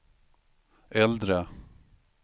äldre